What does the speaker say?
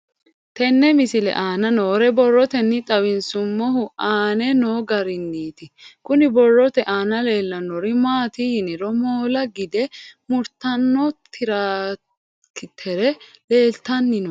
Tenne misile aana noore borroteni xawiseemohu aane noo gariniiti. Kunni borrote aana leelanori maati yiniro moola gidde muritanno tiraakitere leeltanni nooe.